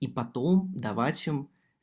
и потом давать всем